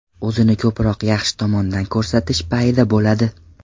O‘zini ko‘proq yaxshi tomondan ko‘rsatish payida bo‘ladi.